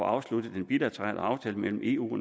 afsluttet den bilaterale aftale mellem eu